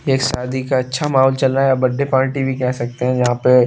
एक शादी का अच्छा माहौल चल रहा है बर्थडे पार्टी भी कह सकते हैं जहां पे -----